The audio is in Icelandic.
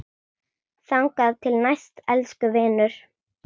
Þangað til næst, elsku vinur.